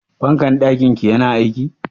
Fankar ɗakin ki yana aiki?